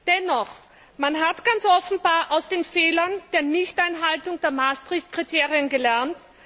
Dennoch, man hat ganz offenbar aus den Fehlern der Nichteinhaltung der Maastrichtkriterien gelernt.